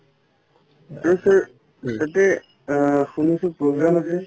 শুনিছো program আছে